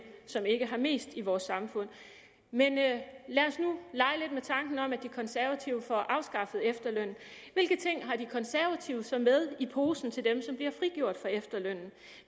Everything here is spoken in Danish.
som ikke har mest i vort samfund men lad os nu lege med tanken om at de konservative får afskaffet efterlønnen hvilke ting har de konservative så med i posen til dem som bliver frigjort for efterlønnen